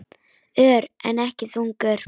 Ör, en ekki þungur.